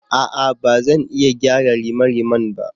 A'a! Ba zan iya gyara rimariman ba.